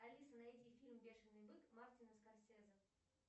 алиса найди фильм бешеный бык мартина скорсезе